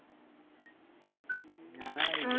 ഞാനാണ്